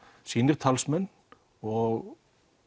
sínir talsmenn og